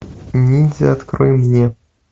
ниндзя открой мне